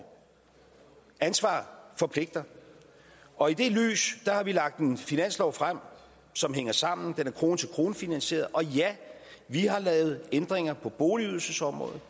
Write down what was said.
ansvar forpligter og i det lys har vi lagt en finanslov frem som hænger sammen den er krone til krone finansieret og ja vi har lavet ændringer på boligydelsesområdet